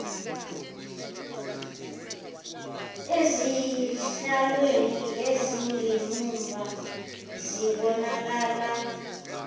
ezihlalweni ezingemumva zibonakala